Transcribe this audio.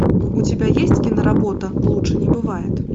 у тебя есть киноработа лучше не бывает